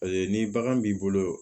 Paseke ni bagan b'i bolo